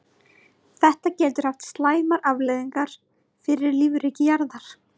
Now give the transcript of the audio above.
Þetta getur haft slæmar afleiðingar fyrir lífríki jarðar.